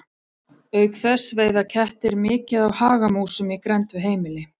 Auk þess veiða kettir mikið af hagamúsum í grennd við heimili.